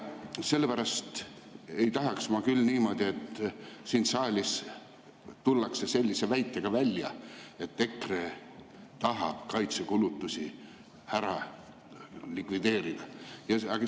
Sellepärast ei tahaks ma küll niimoodi, et siin saalis tullakse sellise väitega välja, et EKRE tahab kaitsekulutusi likvideerida.